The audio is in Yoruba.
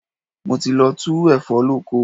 Mo ti lọ tu ẹ̀fọ́ lóko.